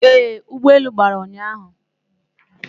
Ee, ụgbọelu gbara ụnyahụ